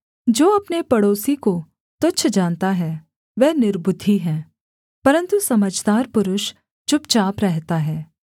जो अपने पड़ोसी को तुच्छ जानता है वह निर्बुद्धि है परन्तु समझदार पुरुष चुपचाप रहता है